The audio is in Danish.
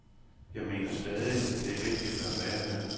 Jeg mener stadig, at det er vigtigt at være her.